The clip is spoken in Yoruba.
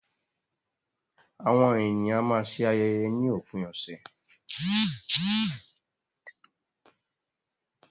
Àwọn ènìyàn a máa ṣe ayẹyẹ ni òpin ọ̀sẹ̀.